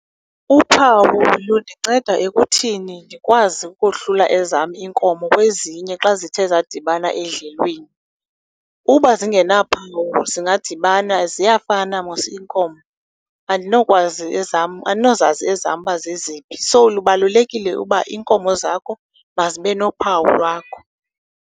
Uphawu lundinceda ekuthini ndikwazi ukohlula ezam iinkomo kwezinye xa zithe zadibana edlelweni. Uba zingenaphawu zingadibana, ziyafana mos iinkomo. Andinokwazi ezam, andinozazi ezam uba zeziphi. So, lubalulekile uba iinkomo zakho mazibe nophawu lwakho.